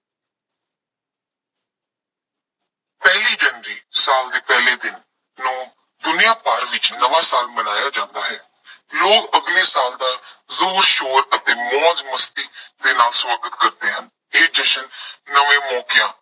ਪਹਿਲੀ ਜਨਵਰੀ ਸਾਲ ਦੇ ਪਹਿਲੇ ਦਿਨ ਨੂੰ ਦੁਨੀਆ ਭਰ ਵਿੱਚ ਨਵਾਂ ਸਾਲ ਮਨਾਇਆ ਜਾਂਦਾ ਹੈ। ਲੋਕ ਅਗਲੇ ਸਾਲ ਦਾ ਜ਼ੋਰ ਸ਼ੋਰ ਅਤੇ ਮੌਜ ਮਸਤੀ ਦੇ ਨਾਲ ਸਵਾਗਤ ਕਰਦੇ ਹਨ। ਇਹ ਜਸ਼ਨ ਨਵੇਂ ਮੌਕਿਆਂ